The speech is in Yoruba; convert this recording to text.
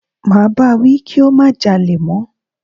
Máa bá wí kí ó má jalè mọ́.